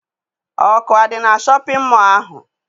Ọkụ adị na shọpịn mọọ ahụ?